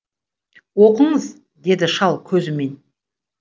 оқыңыз деді шал көзімен